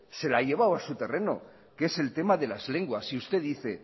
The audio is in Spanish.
se la ha llevado a su terreno que es el tema de las lenguas y usted dice